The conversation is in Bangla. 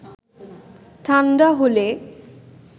ঠাণ্ডা হলে